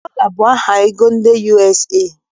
Dọla bụ aha ego ndị USA